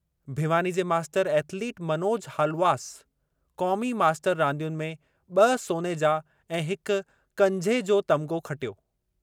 भिवानी जे master athlete Manoj Haluwas क़ौमी master रांदियुनि में ब सोने जा ऐं हिक कंझे जो तमिग़ो खटियो।